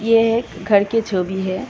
ये एक एक घर की झोगी है।